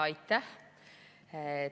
Aitäh!